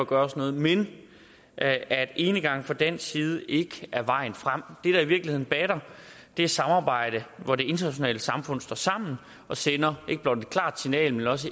gøres noget men at enegang fra dansk side ikke er vejen frem det i virkeligheden batter er samarbejde hvor det internationale samfund står sammen og sender ikke blot et klart signal men også